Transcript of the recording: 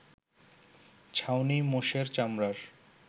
ছাউনি মোষের চামড়ার